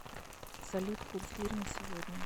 салют курс лир на сегодня